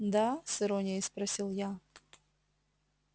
да с иронией спросил я